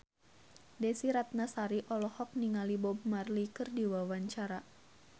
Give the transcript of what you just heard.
Desy Ratnasari olohok ningali Bob Marley keur diwawancara